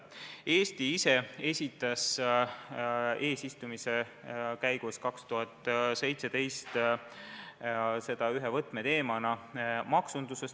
Eesti ise esitles eesistumise käigus 2017. aastal seda ühe võtmeteemana maksunduses.